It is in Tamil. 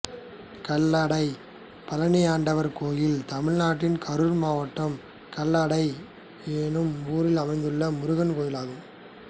கல்லடை பழனியாண்டவர் கோயில் தமிழ்நாட்டில் கரூர் மாவட்டம் கல்லடை என்னும் ஊரில் அமைந்துள்ள முருகன் கோயிலாகும்